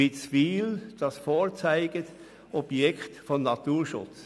Witzwil ist das Vorzeigeobjekt des Naturschutzes.